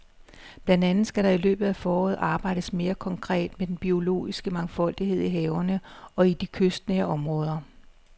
Blandt andet skal der i løbet af foråret arbejdes mere konkret med den biologiske mangfoldighed i havene og i de kystnære områder.